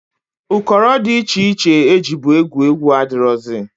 Ụkọrọ dị iche iche e jibu egwu egwu adịrọzị.